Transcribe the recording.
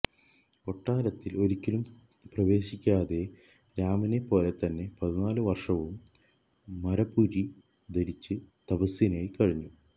കൊട്ടാരത്തില് ഒരിക്കലും പ്രവേശിക്കാതെ രാമനെപ്പോലെതന്നെ പതിനാലു വര്ഷവും മരവുരി ധരിച്ചു തപസ്വിയായി കഴിഞ്ഞു